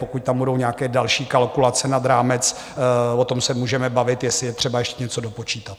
Pokud tam budou nějaké další kalkulace nad rámec, o tom se můžeme bavit, jestli je třeba ještě něco dopočítat.